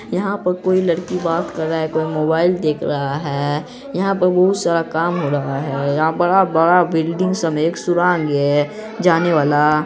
यहाँ पर कोई लड़की बात कर रहा है कोई मोबाईल देख रहा है| यहाँ पर बहुत सारा काम हो रहा है| यहाँ बड़ा-बड़ा बिल्डिंग सब एक सुरंग है जाने वाला |